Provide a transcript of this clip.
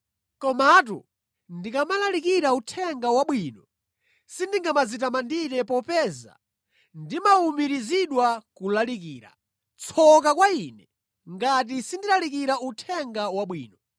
Komatu ndikamalalikira Uthenga Wabwino, sindingadzitamandire popeza ndimawumirizidwa kulalikira. Tsoka kwa ine ngati sindilalikira Uthenga Wabwino!